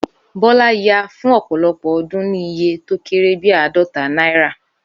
Bọ́lá ya fún ọ̀pọ̀lopọ̀ odún ni iye to kéré bi àádota náírà